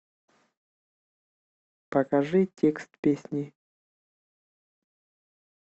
покажи текст песни